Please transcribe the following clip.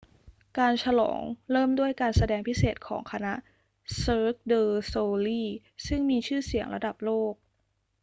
การฉลองเริ่มด้วยการแสดงพิเศษของคณะ cirque du soleil ซึ่งมีชื่อเสียงระดับโลก